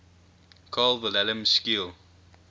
carl wilhelm scheele